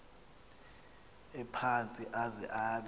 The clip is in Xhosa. ephantsi aze abe